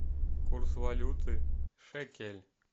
курс валюты шекель